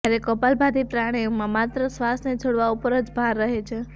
જયારે કપાલભાતિ પ્રાણાયામમાં માત્ર શ્વાસને છોડવા ઉપર જ ભાર રહે છે